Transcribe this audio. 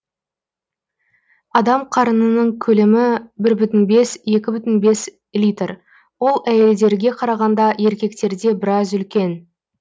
адам қарынының көлемі бір бүтін бес екі бүтін бес литр ол әйелдерге қарағанда еркектерде біраз үлкен